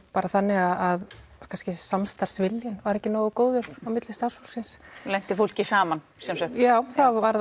þannig að samstarfsviljinn var ekki nógu góður á milli starfsfólksins lenti fólki saman sem sagt já það varð